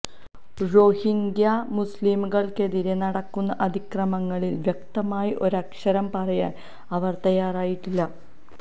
റോഹിംഗ്യാ മുസ്ലിംകള്ക്കെതിരെ നടക്കുന്ന അതിക്രമങ്ങളില് വ്യക്തമായി ഒരക്ഷരം പറയാന് അവര് തയ്യാറായിട്ടില്ല